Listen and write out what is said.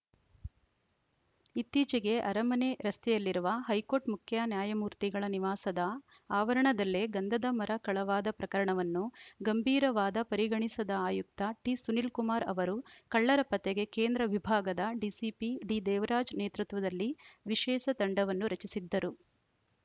ಇತ್ತೀಚಿಗೆ ಅರಮನೆ ರಸ್ತೆಯಲ್ಲಿರುವ ಹೈಕೋರ್ಟ್‌ ಮುಖ್ಯ ನ್ಯಾಯಮೂರ್ತಿಗಳ ನಿವಾಸದ ಆವರಣದಲ್ಲೇ ಗಂಧದ ಮರ ಕಳವಾದ ಪ್ರಕರಣವನ್ನೂ ಗಂಭೀರವಾದ ಪರಿಗಣಿಸಿದ ಆಯುಕ್ತ ಟಿಸುನೀಲ್‌ ಕುಮಾರ್‌ ಅವರು ಕಳ್ಳರ ಪತ್ತೆಗೆ ಕೇಂದ್ರ ವಿಭಾಗದ ಡಿಸಿಪಿ ಡಿದೇವರಾಜ್‌ ನೇತೃತ್ವದಲ್ಲಿ ವಿಶೇಷ ತಂಡವನ್ನು ರಚಿಸಿದ್ದರು